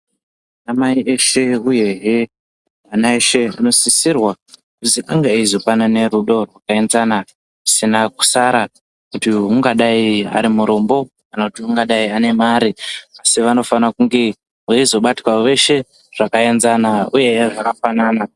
Anamai eshe uyehe ana eshe anosisirwa kunge aizopanana rudo rwakaenzana kana kusiyana kusara muntu ungadai ari murombo kana kuti ungadai ane mare asi vanofana kunge vaizobatwawo veshe zvakaenzana uye zvakafanana.